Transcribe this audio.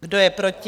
Kdo je proti?